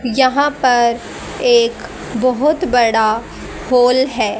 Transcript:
यहां पर एक बहुत बड़ा होल है।